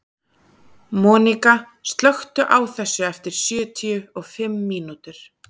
Monika, slökktu á þessu eftir sjötíu og fimm mínútur.